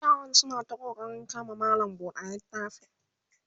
yaram suna ta ƙoƙarin kama malam buɗe littafi